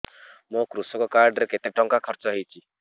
ମୋ କୃଷକ କାର୍ଡ ରେ କେତେ ଟଙ୍କା ଖର୍ଚ୍ଚ ହେଇଚି